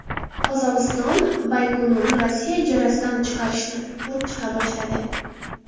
Qozog‘iston Baykonurni Rossiya ijarasidan chiqarishni ko‘rib chiqa boshladi.